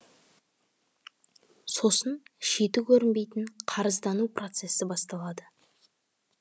сосын шеті көрінбейтін қарыздану процессі басталады